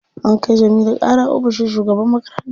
An kai Jamilu ƙara ofishin shugaban makaranta.